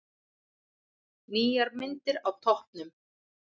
Nýjar myndir á toppnum